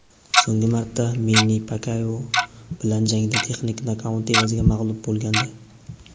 So‘nggi marta Menni Pakyao bilan jangda texnik nokaut evaziga mag‘lub bo‘lgandi.